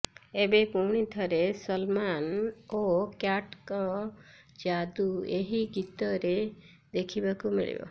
ଏବେ ପୁଣି ଥରେ ସଲ୍ମାନ୍ ଓ କ୍ୟାଟ୍ଙ୍କ ଯାଦୁ ଏହି ଗୀତରେ ଦେଖିବାକୁ ମିଳିବ